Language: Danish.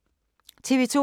TV 2